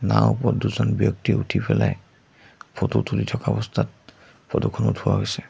নাওৰ ওপৰত দুজন ব্যক্তি উঠিপেলাই ফটো তুলি থকা অৱস্থাত ফটো খন উঠোৱা হৈছে।